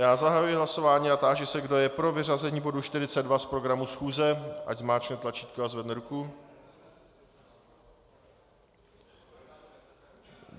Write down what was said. Já zahajuji hlasování a táži se, kdo je pro vyřazení bodu 42 z programu schůze, ať zmáčkne tlačítko a zvedne ruku.